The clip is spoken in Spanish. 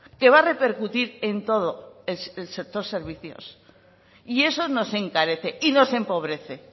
que va a repercutir en todo el sector servicios y eso nos encarece y nos empobrece